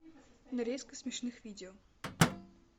нарезка смешных видео